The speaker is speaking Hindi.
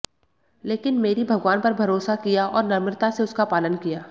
लेकिन मैरी भगवान पर भरोसा किया और नम्रता से उसका पालन किया